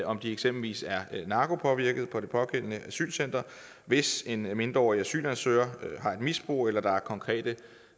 om de eksempelvis er narkopåvirkede på det pågældende asylcenter hvis en mindreårig asylansøger har et misbrug eller hvis der er konkrete